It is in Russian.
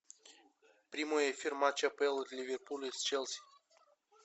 прямой эфир матча апл ливерпуль с челси